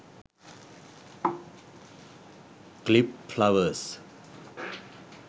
clip flowers